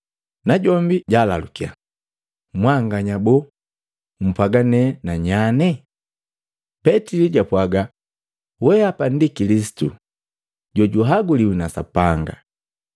Najombi jalalukya, “Mwanganya boo, mpwaaga nena nyane?” Petili japwaga, “We apa ndi Kilisitu jojuaguliwi na Sapanga.”